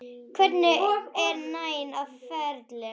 Hvergi er neinn á ferli.